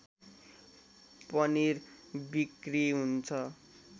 पनिर बिक्री हुन्छ